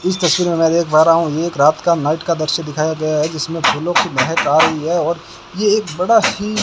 इस तस्वीर में मैं देख पा रहा हूं एक रात का नाइट का दृश्य दिखाया गया है जिसमें फूलों की महक आ रही है और यह एक बड़ा ही --